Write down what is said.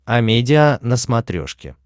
амедиа на смотрешке